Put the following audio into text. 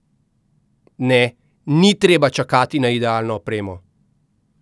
Ne, ni treba čakati na idealno opremo!